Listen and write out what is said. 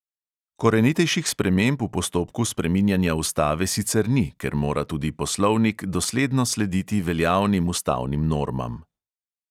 Korenitejših sprememb v postopku spreminjanja ustave sicer ni, ker mora tudi poslovnik dosledno slediti veljavnim ustavnim normam.